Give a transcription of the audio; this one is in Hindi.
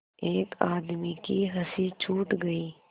एक आदमी की हँसी छूट गई